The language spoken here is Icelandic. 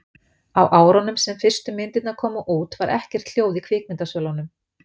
Á árunum sem fyrstu myndirnar komu út var ekkert hljóð í kvikmyndasölunum.